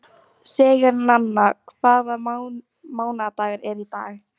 Sigurnanna, hvaða mánaðardagur er í dag?